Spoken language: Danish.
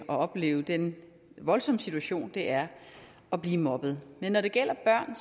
og opleve den voldsomme situation det er at blive mobbet men når det gælder børn